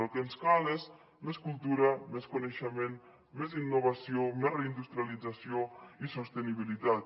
el que ens cal és més cultura més coneixement més innovació més reindustrialització i sostenibilitat